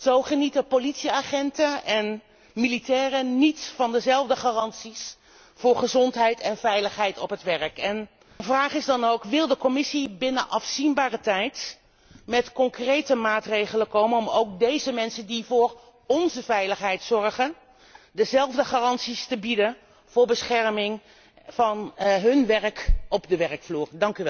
Zo genieten politieagenten en militairen niet dezelfde garanties voor gezondheid en veiligheid op het werk. Mijn vraag is dan ook zal de Commissie binnen afzienbare tijd met concrete maatregelen komen om ook deze mensen, die voor onze veiligheid zorgen, dezelfde garanties te bieden voor bescherming van hun werk op de werkvloer?